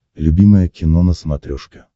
любимое кино на смотрешке